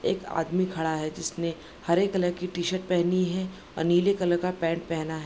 एक आदमी खड़ा है जिसने हरे कलर की टी-शर्ट पहनी है और नीले कलर का पेंट पहना है।